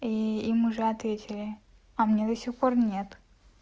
и им уже ответили а мне до сих пор нет